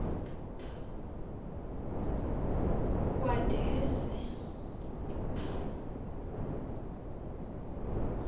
kwadwesi